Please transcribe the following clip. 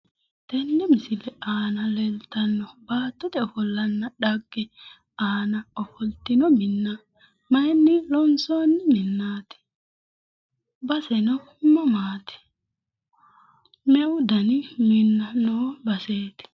Tenne misile aan leeltanno baattote ofollanna dhagge Ana ofoltanno minna mayinni loonsoonni minnaati? baseno mamaati? Meu dani minna noo baseeti?